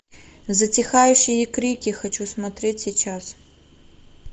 затихающие крики хочу смотреть сейчас